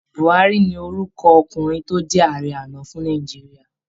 Buhárí ni orúkọ ọkùnrin tó jẹ Ààrẹ àná fún Nàìjíríà